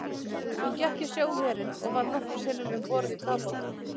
Hún gekk í sjóherinn og var nokkrum sinnum um borð í kafbátum.